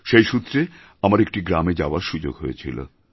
সেই সূত্রে আমার একটি গ্রামে যাওয়ার সুযোগ হয়েছিল